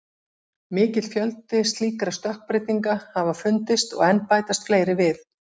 Mikill fjöldi slíkra stökkbreytinga hafa fundist og enn bætast fleiri við.